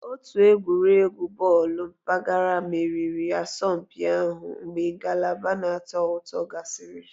Otu egwuregwu bọọlụ mpaghara meriri asọmpi ahụ mgbe ngalaba na-atọ ụtọ gasịrị